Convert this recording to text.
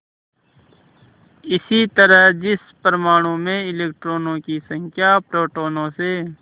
इसी तरह जिस परमाणु में इलेक्ट्रॉनों की संख्या प्रोटोनों से